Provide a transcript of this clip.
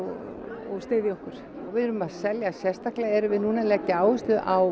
og styðja okkur við erum að selja sérstaklega erum við núna að leggja áherslu á